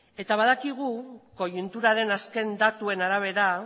eta badakigu koiunturaren azken datuaren arabera